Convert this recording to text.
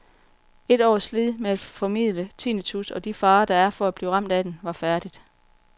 Et års slid med at formidle tinnitus og de farer, der er for at blive ramt af den, var færdigt.